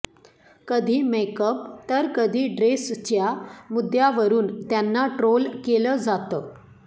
कधी मेकअप तर कधी ड्रेसच्या मुद्द्यावरुन त्यांना ट्रोल केलं जातं